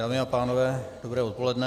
Dámy a pánové dobré odpoledne.